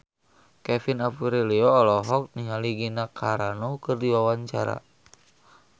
Kevin Aprilio olohok ningali Gina Carano keur diwawancara